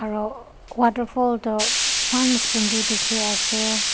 aro waterfall toh enan sunder dekhi asey.